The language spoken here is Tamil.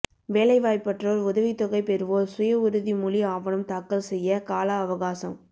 வேலைவாய்ப்பற்றோர் உதவித்தொகை பெறுவோர் சுயஉறுதிமொழி ஆவணம் தாக்கல் செய்ய கால அவகாசம்